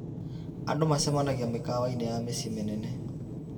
Andũ macemanagia mĩkawa-inĩ ya mĩciĩ mĩnene.